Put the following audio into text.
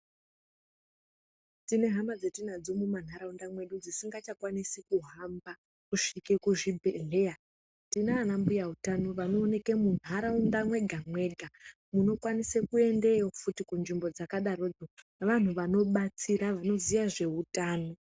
Tine hama dzatinadzo mumanharaunda mwedu dzisingachakwanisi kuhamba kusvike kuzvibhehleya tinana mbuya utano vanooneke munharaunda mwega mwega munokwanise endewo futi kunzvimbo dazakadaroko vantu vanobatsira vanoziya zveutano.